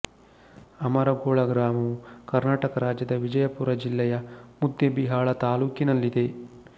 ಅಮರಗೋಳ ಗ್ರಾಮವು ಕರ್ನಾಟಕ ರಾಜ್ಯದ ವಿಜಯಪುರ ಜಿಲ್ಲೆಯ ಮುದ್ದೇಬಿಹಾಳ ತಾಲ್ಲೂಕಿನಲ್ಲಿದೆ